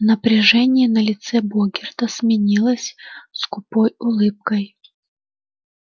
напряжение на лице богерта сменилось скупой улыбкой